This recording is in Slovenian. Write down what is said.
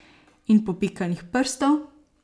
In popikanih prstov.